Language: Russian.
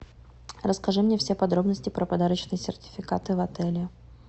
расскажи мне все подробности про подарочные сертификаты в отеле